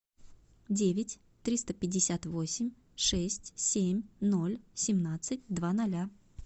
девять триста пятьдесят восемь шесть семь ноль семнадцать два ноля